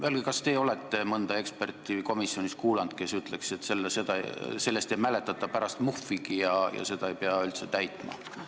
Öelge, kas teie olete komisjonis kuulanud mõnda eksperti, kes ütleks, et sellest ei mäletata pärast muhvigi ja seda ei pea üldse täitma.